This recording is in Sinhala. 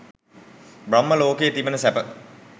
බ්‍රහ්ම ලෝකයේ තිබෙන සැප